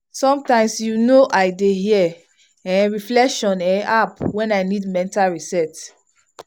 sometimes you know i dey hear um reflection um app when i need mental reset.